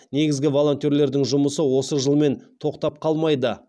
негізі волонтерлердің жұмысы осы жылмен тоқтап қалмайды